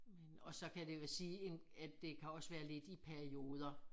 Men og så kan det vil sige en at det kan også være lidt i perioder